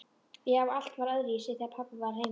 Já, allt var öðruvísi þegar pabbi var heima.